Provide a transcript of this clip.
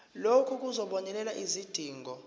lokhu kuzobonelela izidingo